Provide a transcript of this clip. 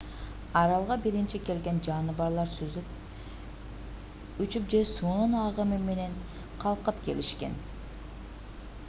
аралга биринчи келген жаныбарлар сүзүп учуп же суунун агымы менен калкып келишкен